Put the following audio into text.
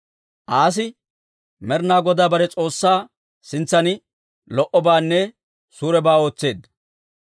Aasi Med'inaa Godaa bare S'oossaa sintsan lo"obaanne suurebaa ootseedda.